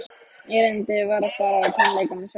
Erindið var að fara á tónleika með sjálfri